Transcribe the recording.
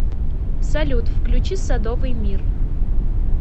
салют включи садовый мир